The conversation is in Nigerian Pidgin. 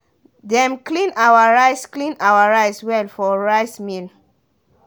dem clean our rice clean our rice well for rice mill.